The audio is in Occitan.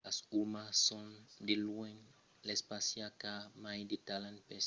los umans son de luènh l'espècia qu'a mai de talent per legir las pensadas dels autres